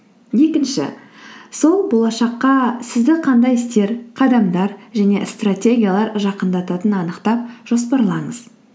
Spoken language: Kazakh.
екінші сол болашаққа сізді қандай істер қадамдар және стратегиялар жақындататынын анықтап жоспарлаңыз